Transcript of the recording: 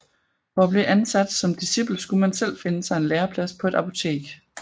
For at blive ansat som discipel skulle man selv finde sig en læreplads på et apotek